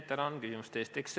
Tänan küsimuste eest!